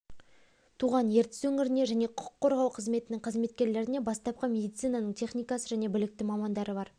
туған ертіс өңіріне және құқық қорғау қызметінің қызметкерлеріне бастапқы медицинаның техникасы және білікті мамандары бар